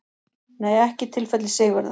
Nei ekki í tilfelli Sigurðar.